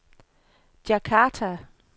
Djakarta